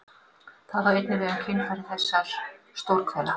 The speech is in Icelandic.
Það á einnig við um kynfæri þessar stórhvela.